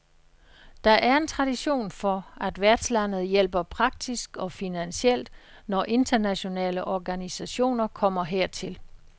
Der er en tradition for, at værtslandet hjælper praktisk og finansielt, når internationale organisationer kommer hertil.